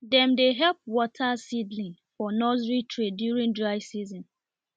dem dey help water seedlings for nursery tray during dry season